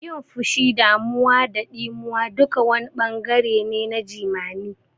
Yin fushi, damuwa da ɗimuwa duka wani ɓangare ne na jimami.